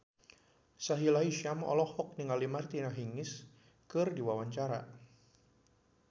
Sahila Hisyam olohok ningali Martina Hingis keur diwawancara